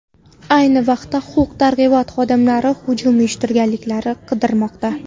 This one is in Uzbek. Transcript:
Ayni vaqtda huquq-tartibot xodimlari hujum uyushtirganlarni qidirmoqda.